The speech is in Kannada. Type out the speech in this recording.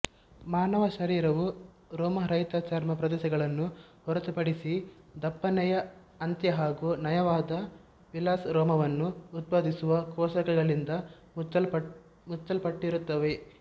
ಮಾನವ ಶರೀರವು ರೋಮರಹಿತ ಚರ್ಮ ಪ್ರದೇಶಗಳನ್ನು ಹೊರತುಪಡಿಸಿ ದಪ್ಪನೆಯ ಅಂತ್ಯ ಹಾಗೂ ನಯವಾದ ವೆಲಸ್ ರೋಮವನ್ನು ಉತ್ಪಾದಿಸುವ ಕೋಶಕಗಳಿಂದ ಮುಚ್ಚಲ್ಪಟ್ಟಿರುತ್ತದೆ